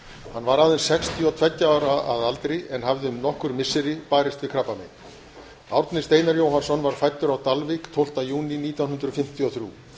hann var aðeins sextíu og tveggja ára að aldri en hafði í nokkur missiri barist við krabbamein árni steinar jóhannsson var fæddur á dalvík tólfta júní nítján hundruð fimmtíu og þrjú